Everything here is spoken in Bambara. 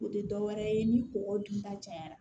O tɛ dɔwɛrɛ ye ni kɔkɔ dunta cayara